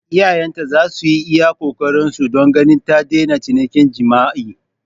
Iyayenta za su yi iya ƙoƙarinsu don ganin ta daina cinikin jima'i.